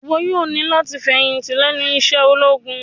Iwọ yoo ni lati ifẹhinti lẹnu iṣẹ ologun!